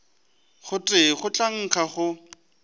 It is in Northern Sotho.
gotee go tla nkga go